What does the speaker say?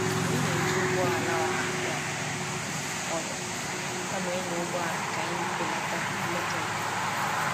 Anyị na-eji ụgbọala ọha aga ọrụ kama ịnya ụgbọala ka anyị belata mmetọ ikuku.